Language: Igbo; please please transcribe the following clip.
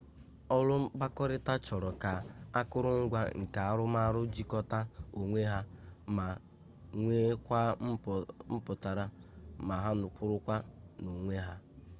ọrụ mkpakọrịta chọrọ ka akụrụngwa nke arụmarụ jikọta onwe ha ma nweekwa mpụtara ma ha kwụrụ n'onwe ha